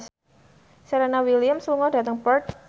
Serena Williams lunga dhateng Perth